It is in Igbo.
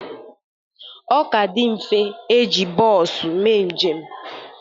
Ọ ka dị mfe e ji bos mee njem